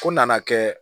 Fo nana kɛ